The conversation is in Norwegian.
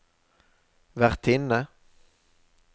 vertinne